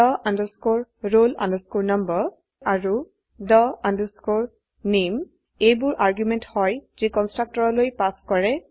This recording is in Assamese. the roll number আৰু the name এইববোৰ আৰ্গুমেন্ট হয় যি কন্সট্ৰকটৰলৈ পাস কৰে